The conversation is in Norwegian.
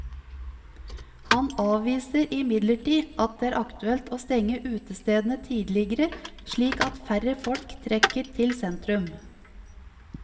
Han avviser imidlertid at det er aktuelt å stenge utestedene tidligere, slik at færre folk trekker til sentrum.